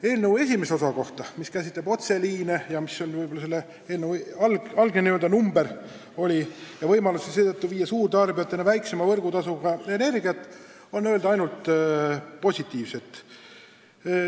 Eelnõu esimese osa kohta, mis käsitleb otseliine – see on võib-olla eelnõu algne teema – ja annab võimaluse energiat suurtarbijateni viia väiksema võrgutasuga, on öelda ainult positiivset.